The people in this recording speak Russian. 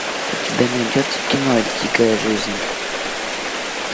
у тебя найдется кино дикая жизнь